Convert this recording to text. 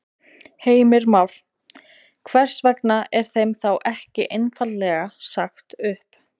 Heimir Már: Hvers vegna er þeim þá ekki einfaldlega sagt upp?